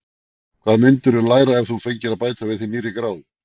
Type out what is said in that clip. Hvað myndirðu læra ef þú fengir að bæta við þig nýrri gráðu?